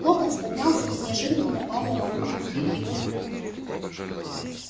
локонс поднялся и неожиданно напал на робина сбив его с ног